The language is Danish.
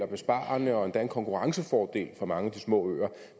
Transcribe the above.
besparende og endda en konkurrencefordel for mange af de små øer